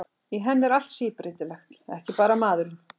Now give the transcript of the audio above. Í henni er allt síbreytilegt, ekki bara maðurinn.